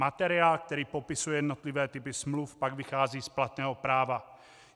Materiál, který popisuje jednotlivé typy smluv, pak vychází z platného práva.